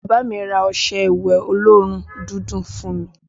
Bàbá mi ra ọṣẹ ìwẹ̀ olóòórùn dídùn fún mi